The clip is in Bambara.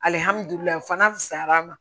Alihamudulila fanga fusayar'a ma